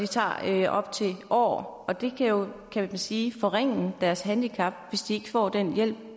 tager op til år og det kan jo kan man sige forringe deres handicap hvis de ikke får den hjælp